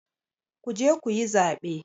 Ku je ku yi zaɓe!